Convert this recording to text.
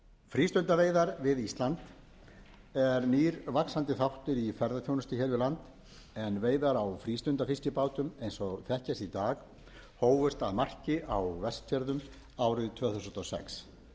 frístundaveiðar við ísland er nýr vaxandi þáttur í ferðaþjónustu hér við land en veiðar á frístundafiskibátum eins og þekkjast í dag hófust að marki á vestfjörðum árið tvö þúsund og sex þessar veiðar